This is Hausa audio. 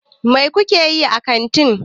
Mai ku ke yi a kanti?